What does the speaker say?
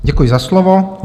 Děkuji za slovo.